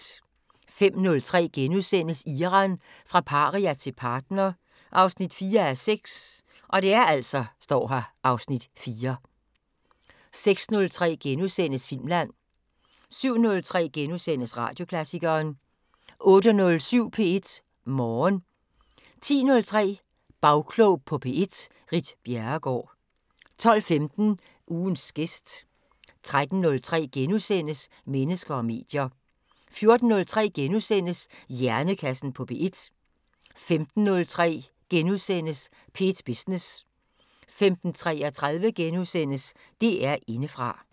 05:03: Iran – fra paria til partner 4:6 (Afs. 4)* 06:03: Filmland * 07:03: Radioklassikeren * 08:07: P1 Morgen 10:03: Bagklog på P1: Ritt Bjerregaard 12:15: Ugens gæst 13:03: Mennesker og medier * 14:03: Hjernekassen på P1 * 15:03: P1 Business * 15:33: DR Indefra *